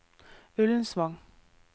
Ullensvang